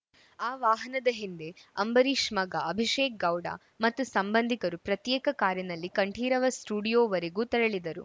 ಆ ವಾಹನದ ಹಿಂದೆ ಅಂಬರೀಷ್‌ ಮಗ ಅಭಿಷೇಕ್‌ಗೌಡ ಮತ್ತು ಸಂಬಂಧಿಕರು ಪ್ರತ್ಯೇಕ ಕಾರಿನಲ್ಲಿ ಕಂಠೀರವ ಸ್ಟುಡಿಯೋವರೆಗೂ ತೆರಳಿದರು